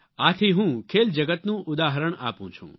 આથી હું ખેલ જગતનું ઉદાહરણ આપું છું